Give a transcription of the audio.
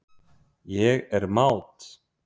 Ég er mát.